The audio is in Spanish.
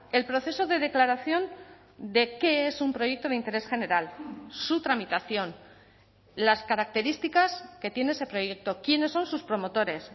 el proceso de declaración de qué es un proyecto de interés general su tramitación las características que tiene ese proyecto quiénes son sus promotores